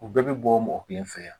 U bɛɛ bɛ bɔ mɔgɔ kelen fɛ yan